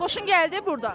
Xoşun gəldi burda?